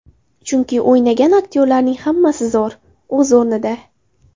Chunki o‘ynagan aktyorlarning hammasi zo‘r, o‘z o‘rnida.